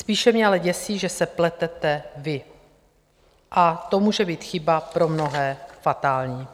Spíše mě ale děsí, že se pletete vy, a to může být chyba pro mnohé fatální.